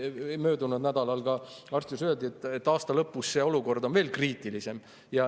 Mulle möödunud nädalal arsti juures öeldi, et aasta lõpus on see olukord veel kriitilisem.